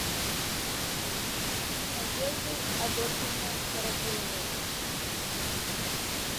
надеждой адольфовной городиловой